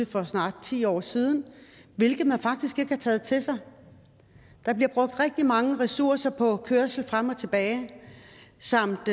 for snart ti år siden hvilket man faktisk ikke har taget til sig der bliver brugt rigtig mange ressourcer på kørsel frem og tilbage samt